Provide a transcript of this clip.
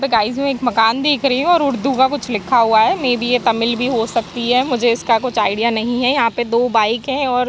guys मैं एक मकान देख रही हूँ और उर्दू का कुछ लिखा हुआ है मेबी ये तमिल भी हो सकती है मुझे इसका कुछ आईडिया नही है यहाँ पे दो बाईक है और --